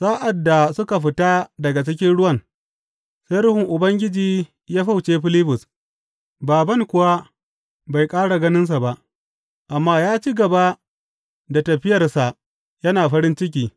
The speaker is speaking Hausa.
Sa’ad da suka fita daga cikin ruwan, sai Ruhun Ubangiji ya fyauce Filibus, bābān kuwa bai ƙara ganinsa ba, amma ya ci gaba da tafiyarsa yana farin ciki.